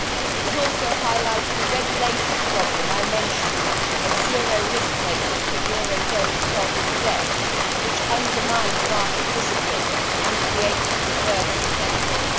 It also highlights the regulatory problem I mentioned of zero risk weighting for eurozone sovereign debt, which undermined market discipline and created perverse incentives.